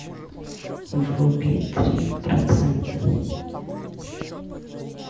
вруби три процента